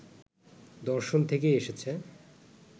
দর্শন থেকেই এসেছে।